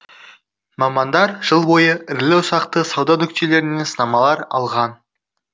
мамандар жыл бойы ірілі ұсақты сауда нүктелерінен сынамалар алған